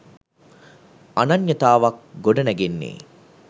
අනන්‍යතාවක් ගොඩනැගෙන්නෙ